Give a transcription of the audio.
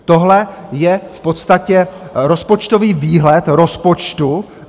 Tohle je v podstatě rozpočtový výhled rozpočtu.